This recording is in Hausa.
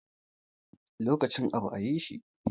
Lokacin abu a yi shi